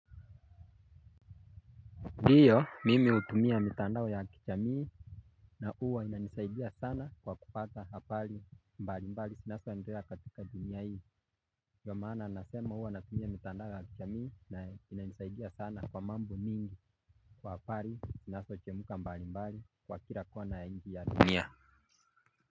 Ndiyo mimi utumia mitandao ya kichamii. Na uwa ina nisaidia sana kwa kupata hapali mbali mbali sinaso enderea katika dunia hii dio maana nasema uwa natumia mitandao ya kichamii na inanisaidia sana kwa mambo mingi. Kwa hapali sinaso chemuka mbali mbali kwa kila kona ya nchi ya dunia.